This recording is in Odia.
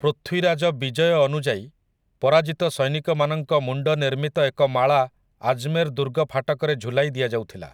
ପୃଥ୍ୱୀରାଜ ବିଜୟ ଅନୁଯାୟୀ, ପରାଜିତ ସୈନିକମାନଙ୍କ ମୁଣ୍ଡନିର୍ମିତ ଏକ ମାଳା ଆଜମେର ଦୁର୍ଗ ଫାଟକରେ ଝୁଲାଇ ଦିଆଯାଉଥିଲା ।